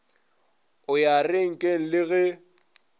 o ya renkeng le ge